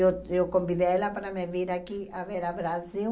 Eu eu convidei ela para me vir aqui a ver o Brasil.